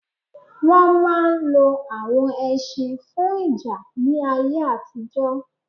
Wọn máà ń lo awon ẹṣin fún ìjà ní ayé àtijọ́